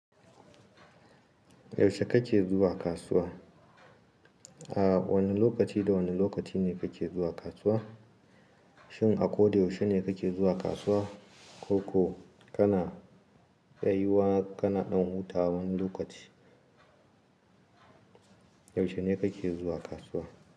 Yaushe kake zuwa kasuwa? A wane lokaci da wane lokaci ne kake zuwa kasuwa? Shin a ko da yaushe ne kake zuwa kasuwa ko kana tsayiwa kana ɗan hutawa wani lokaci? Yaushe ne kake zuwa kasuwa?